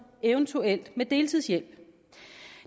eventuelt med deltidshjælp